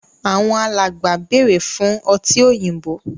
Àwọn alàgbà bẹrẹ fún ọtí òyìnbó.